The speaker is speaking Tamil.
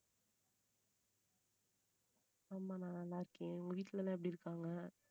ஆமா நான் நல்லா இருக்கேன் உங்க வீட்டுல எல்லாம் எப்படி இருக்காங்க